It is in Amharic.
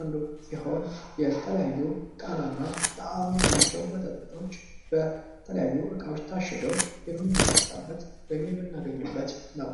አንዱ ስሆን የተለያዩ ጣናና ጣይም ያላቸዉ መጠጦች በተለያዩ እቃዎች ታሽገው የምንጠጣበት ወይም የምናገኝበት ነው።